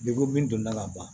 min donna ka ban